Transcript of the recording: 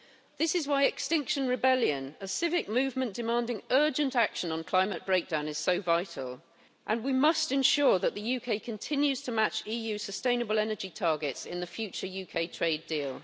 This is why Extinction Rebellion, a civic movement demanding urgent action on climate breakdown, is so vital, and we must ensure that the UK continues to match EU sustainable energy targets in the future UK trade deal.